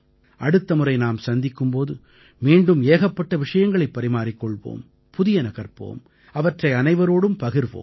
அடுத்த முறை நாம் சந்திக்கும் போது மீண்டும் ஏகப்பட்ட விஷயங்களைப் பரிமாறிக் கொள்வோம் புதியன கற்போம் அவற்றை அனைவரோடும் பகிர்வோம்